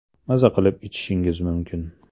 Maza qilib ichishingiz mumkin!